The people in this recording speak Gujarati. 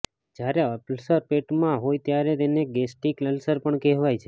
જ્યારે અલ્સર પેટમાં હોય ત્યારે તેને ગેસ્ટિક અલ્સર પણ કહેવાય છે